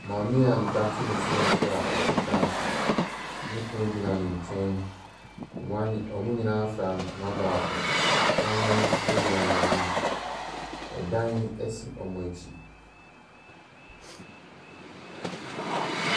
Maame a ne ba te ne so a ɔte kaa so, ne kunu gyina ne nkyɛn, wɔn anyi wɔn nyinaa fura ntoma baako, kraman gyina wɔn anim, dan si wɔn akyi.